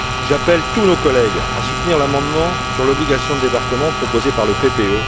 J'appelle tous nos collègues à soutenir l'amendement sur l'obligation de débarquement proposé par le PPE.